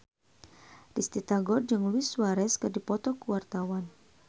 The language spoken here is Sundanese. Risty Tagor jeung Luis Suarez keur dipoto ku wartawan